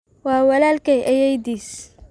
Waa walaalkay ayeeydii